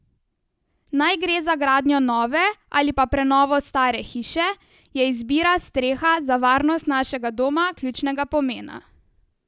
Naj gre za gradnjo nove ali pa prenovo stare hiše, je izbira streha za varnost našega doma ključnega pomena.